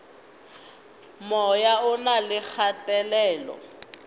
moya o na le kgatelelo